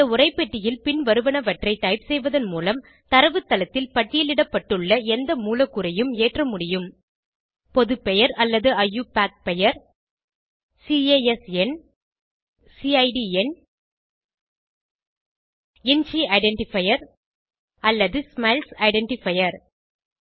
இந்த உரைப்பெட்டியில் பின்வருவனவற்றை டைப் செய்வதன் மூலம் தரவுத்தளத்தில் பட்டியலிடப்பட்டுள்ள எந்த மூலக்கூறையும் ஏற்ற முடியும் பொது பெயர் அல்லது ஐயூபாக் பெயர் சிஏஎஸ் எண் சிட் எண் இஞ்சி ஐடென்டிஃபையர் அல்லது ஸ்மைல்ஸ் ஐடென்டிஃபையர்